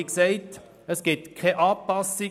Wie gesagt: Es gibt keine Anpassung.